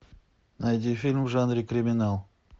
найди фильм в жанре криминал